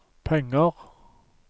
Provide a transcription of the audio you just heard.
penger